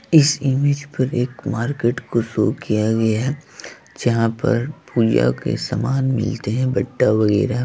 इस इमेज पर एक मार्केट को शो किया गया है जहाँ पर पूजा के सामान मिलते हैं बट्टा वगैरा।